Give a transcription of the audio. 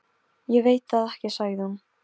Ég veit það ekki sagði hún.